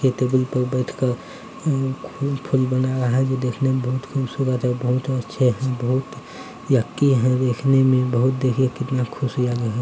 एक टेबल पे बैथ कर उम् फूल बना रहा है बहुत अच्छा लग रहा देखने में कितनी खुशहाली है |